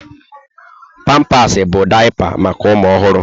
Pampasị bụ daịpa maka ụmụ ọhụrụ.